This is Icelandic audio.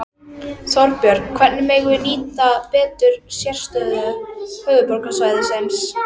Þorbjörn: Hvernig megum við nýta betur sérstöðu höfuðborgarsvæðisins?